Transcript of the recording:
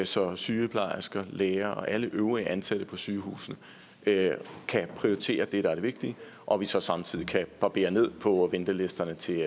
så sygeplejersker læger og alle øvrige ansatte på sygehusene kan prioritere det der er det vigtige og vi så samtidig kan barbere ned på ventelisterne til